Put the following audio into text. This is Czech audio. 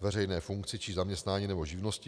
veřejné funkci, či zaměstnání nebo živnosti.